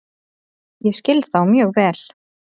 Ég skil þá mjög vel.